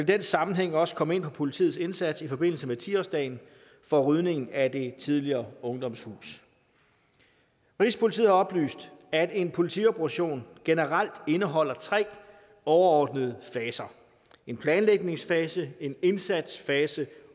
den sammenhæng også komme ind på politiets indsats i forbindelse med ti årsdagen for rydningen af det tidligere ungdomshus rigspolitiet har oplyst at en politioperation generelt indeholder tre overordnede faser en planlægningsfase en indsatsfase